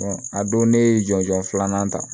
a don ne ye jɔnjɔn filanan ta